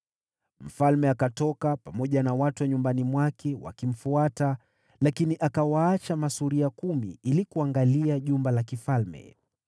Mfalme akatoka, pamoja na watu wa nyumbani mwake wakimfuata; lakini akawaacha masuria kumi ili kuangalia jumba la kifalme.